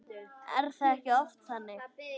Er það ekki oft þannig?